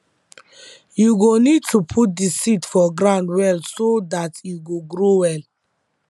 u go need to put the seed for ground well so dat e go grow well